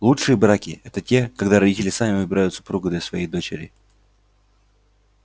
лучшие браки это те когда родители сами выбирают супруга для своей дочери